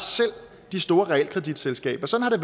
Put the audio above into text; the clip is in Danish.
de store realkreditselskaber sådan har